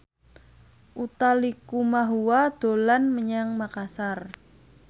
Utha Likumahua dolan menyang Makasar